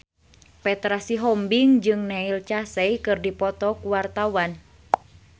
Petra Sihombing jeung Neil Casey keur dipoto ku wartawan